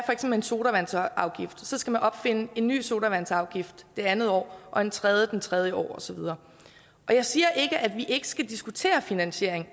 en sodavandsafgift så skal man opfinde en ny sodavandsafgift det andet år og en tredje det tredje år og så videre jeg siger ikke at vi ikke skal diskutere finansiering